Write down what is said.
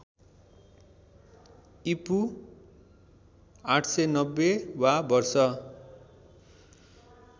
ईपू ८९० वा वर्ष